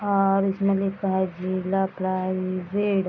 और इसमें लिखा है जिला प्राइवेट --